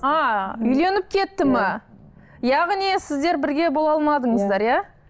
а үйленіп кетті ме яғни сіздер бірге бола алмадыңыздар иә